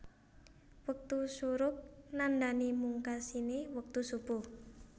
Wektu syuruq nandhani mungkasiné wektu Shubuh